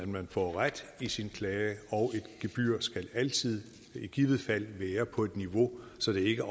man får ret i sin klage og et gebyr skal altid i givet fald være på et niveau så det ikke